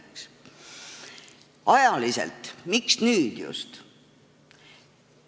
Miks ajaliselt just nüüd?